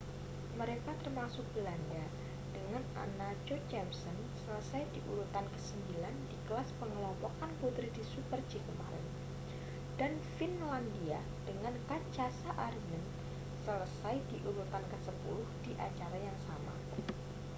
mereka termasuk belanda dengan anna jochemsen selesai di urutan kesembilan di kelas pengelompokan putri di super-g kemarin dan finlandia dengan katja saarinen selesai di urutan kesepuluh di acara yang sama